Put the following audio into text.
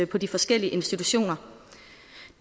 på de forskellige institutioner